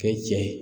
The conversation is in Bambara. Kɛ cɛ ye